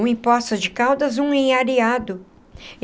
Um em Poços de Caldas e um em Areado.